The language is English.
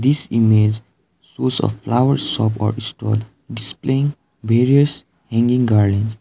this image shows a flowers shop or store displaying various hanging garlands.